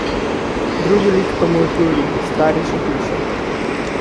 Drugi lik pa mu odgovori: "Stvar je še hujša.